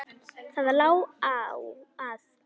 Það lá að.